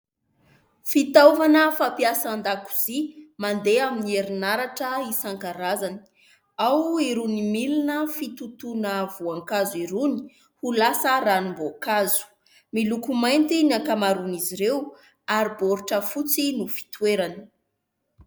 Fitaovana fampiasa an-dakozia mandeha amin'ny herinaratra isan-karazany. Ao irony milina fitotoana voankazo irony ho lasa ranom-boankazo. Miloko mainty ny ankamaroan'izy ireo ary baoritra fotsy no fitoerany.